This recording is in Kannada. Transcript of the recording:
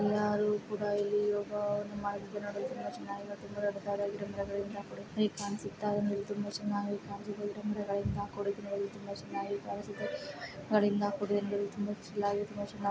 ಯಾರು ಕೂಡ ಇಲ್ಲಿ ಓ ನಮಾಜು ನೋಡಲು ತುಂಬಾ ಚೆನ್ನಾಗಿರುತ್ತೆ ತುಂಬಾ ದೊಡ್ಡದಾದ ರಂಧ್ರಗಳಿಂದ ಕೂಡಿದ ಹೇಗ್ ಕಾಣ್ಸುತ್ತಾ ಇದೆ ತುಂಬಾ ಚನ್ನಾಗಿ ಕಾಣ್ಸುತ್ತೆ ಈ ರಂಧ್ರಗಳಿಂದ ಕೂಡಿದು ಇದು ತುಂಬಾ ಚೆನ್ನಾಗಿ ಕಾಣಿಸುತ್ತೆ ಗಳಿಂದ ಕೂಡಿದೆ ನೋಡಲು ತುಂಬಾ ಚಿಲ್ ಆಗಿ ತುಂಬಾ ಚನಾಗ್--